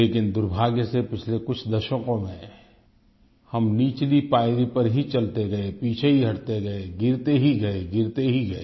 लेकिन दुर्भाग्य से पिछले कुछ दशकों में हम निचली पायरी पर ही चलते गए पीछे ही हटते गए गिरते ही गए गिरते ही गए